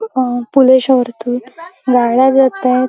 अ गाड्या जात आहेत.